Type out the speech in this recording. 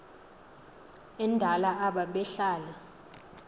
endala aba behlala